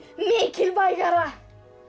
mikilvægara